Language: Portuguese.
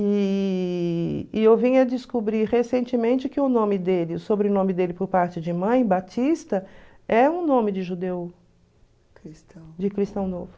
E e eu vim a descobrir recentemente que o nome dele, o sobrenome dele por parte de mãe, Batista, é um nome de judeu, de cristão novo.